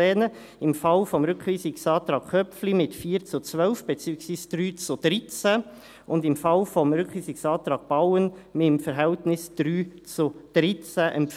Man empfiehlt Ihnen im Fall des Rückweisungsantrags Köpfli mit 4 zu 12, beziehungsweise mit 3 zu 13 Stimmen und im Fall des Rückweisungsantrags Bauen mit dem Verhältnis 3 zu 13,